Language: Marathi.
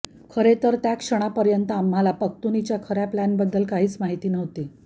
खरेतर त्या क्षणापर्यंत आम्हाला पख्तुनीच्या खर्या प्लानबद्दल काहीच माहिती नव्हती